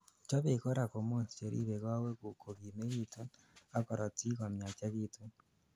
chobei korak hormones cheribei kowekguk kogimegitu ak korotiguk komiachegitun